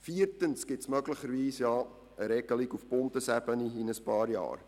Viertens gibt es möglicherweise in ein paar Jahren eine Regelung auf Bundesebene.